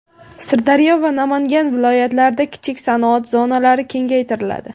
Sirdaryo va Namangan viloyatlarida kichik sanoat zonalari kengaytiriladi.